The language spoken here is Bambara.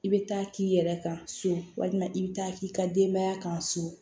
I bɛ taa k'i yɛrɛ kan so walima i bɛ taa k'i ka denbaya kan so